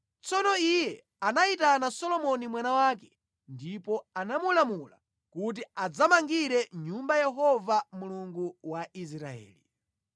Tsono iye anayitana Solomoni mwana wake ndipo anamulamula kuti adzamangire nyumba Yehova Mulungu wa Israeli.